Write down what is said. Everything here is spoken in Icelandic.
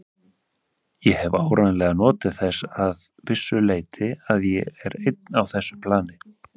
Ég hef áreiðanlega notið þess að vissu leyti að ég er einn á þessu plani.